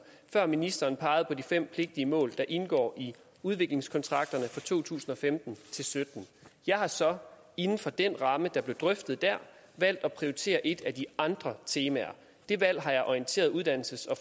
før ministeren pegede på de fem pligtige mål der indgår i udviklingskontrakterne for to tusind og femten til sytten jeg har så inden for den ramme der blev drøftet der valgt at prioritere et af de andre temaer det valg har jeg orienteret uddannelses og